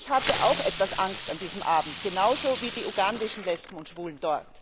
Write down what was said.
Ich hatte auch etwas Angst an diesem Abend, genauso wie die ugandischen Lesben und Schwulen.